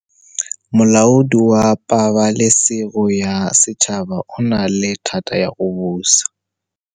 Molaodi wa Pabalêsêgo ya Setšhaba o na le thata ya go busa.